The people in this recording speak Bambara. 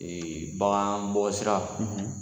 Ee bangan bɔ sira .